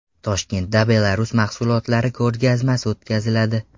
Toshkentda Belarus mahsulotlari ko‘rgazmasi o‘tkaziladi.